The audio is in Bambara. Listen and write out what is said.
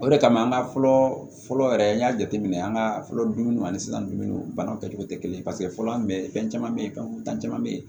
O de kama an ka fɔlɔ fɔlɔ yɛrɛ an y'a jateminɛ an ka fɔlɔ dumuniw ani sisan dumuniw banaw kɛcogo tɛ kelen ye paseke fɔlɔ an bɛ fɛn caman bɛ yen fɛn caman bɛ yen